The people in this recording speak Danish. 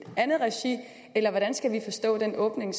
andet regi eller hvordan skal vi forstå den åbning